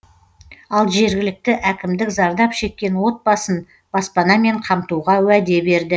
ал жергілікті әкімдік зардап шеккен отбасын баспанамен қамтуға уәде берді